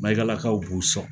Mayigalakaw b'u sɔn.